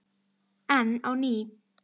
Enn á ný